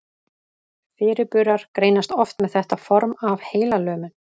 Fyrirburar greinast oft með þetta form af heilalömun.